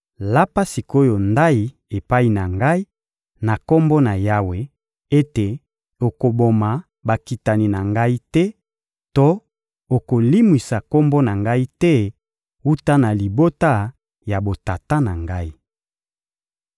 Lapa sik’oyo ndayi epai na ngai na Kombo na Yawe ete okoboma bakitani na ngai te to okolimwisa kombo na ngai te wuta na libota ya botata na ngai.